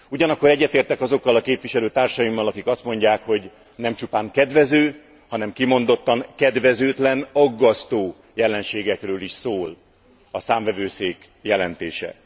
Ugyanakkor egyetértek azokkal a képviselőtársaimmal, akik azt mondják, hogy nem csupán kedvező, hanem kimondottan kedvezőtlen, aggasztó jelenségekről is szól a Számvevőszék jelentése.